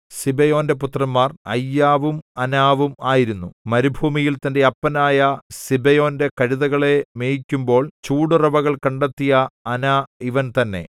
സിബെയോന്റെ പുത്രന്മാർ അയ്യാവും അനാവും ആയിരുന്നു മരുഭൂമിയിൽ തന്റെ അപ്പനായ സിബെയോന്റെ കഴുതകളെ മേയ്ക്കുമ്പോൾ ചൂടുറവുകൾ കണ്ടെത്തിയ അനാ ഇവൻ തന്നെ